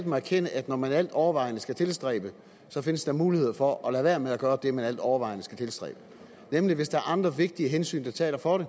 må erkende at når man altovervejende skal tilstræbe findes der muligheder for at lade være med at gøre det man altovervejende skal tilstræbe nemlig hvis der er andre vigtige hensyn der taler for det